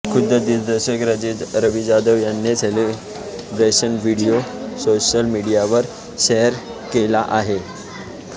खुद्द दिग्दर्शक रवी जाधवने या सेलिब्रेशनचा व्हिडीओ सोशल मीडियावर शेअर केला आहे